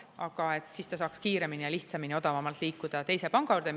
Aga siis ta saaks kiiremini, lihtsamini ja odavamalt liikuda teise panga juurde.